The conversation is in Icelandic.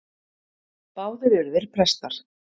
Báðir eru þeir prestar.